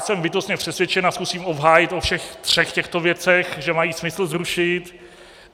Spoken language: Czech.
Jsem bytostně přesvědčen, a zkusím obhájit o všech třech těchto věcech, že mají smysl zrušit.